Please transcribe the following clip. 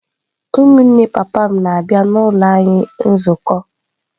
Ụmụnne papa m na-abịa n’ụlọ anyị nzukọ.